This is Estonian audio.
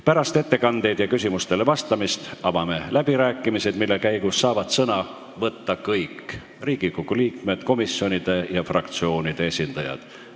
Pärast ettekandeid ja küsimustele vastamist avame läbirääkimised, mille käigus saavad sõna võtta kõik Riigikogu liikmed, komisjonide ja fraktsioonide esindajad.